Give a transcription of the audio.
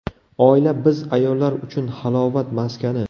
Oila biz ayollar uchun halovat maskani.